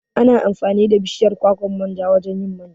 Ana amfani da bishiyar kwakwan manja wajan yin manja